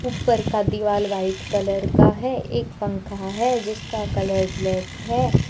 ऊपर का दिवाल व्हाइट कलर का है एक पंखा है जिसका कलर ब्लैक है।